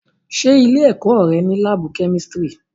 Ṣé ilé-ẹ̀kọ́ rẹ ní láábù kémísírì?